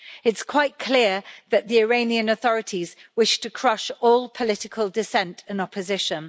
It's quite clear that the Iranian authorities wish to crush all political dissent and opposition.